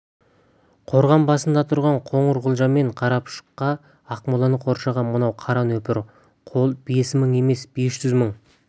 қорған басында тұрған қоңырқұлжа мен қарапұшыққа ақмоланы қоршаған мынау қара нөпір қол бес мың емес бес жүз мың